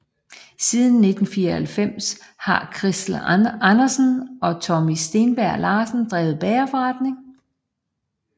Siden 1994 har Christel Andersen og Tommy Stenbjerg Larsen drevet bagerforretningen